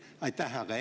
Aitäh!